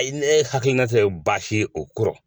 A ye ne hakilina tɛ baasi ye o ko la.